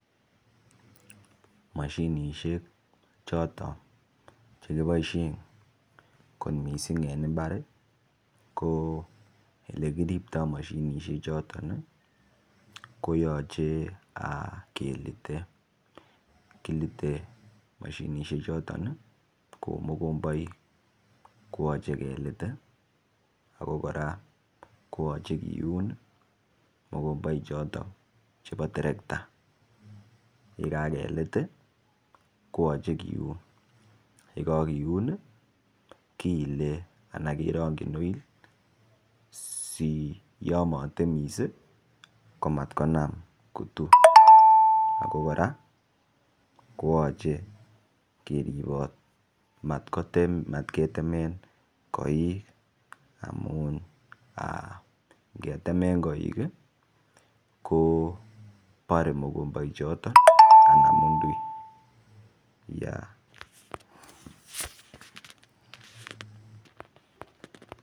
Moshinishek choton che kiboishen kot missing' en imbar ii ko ele kiripto moshinishek choton ko yoche kelite, kilite moshinishek choton ii kouu mokomboik koyoche kelit ii ako koraa koyoche kiun mokomboik choton chebo terekta ye kakelit ii koyoche kiun ye kokiun kiile anan kerogyin oil si yon motemis ii ko mat konam kutu ko koraa koyoche keribot mat ketemen koik amun aa ngetemen koik ii ko boree mokomboik choton ii anan mundui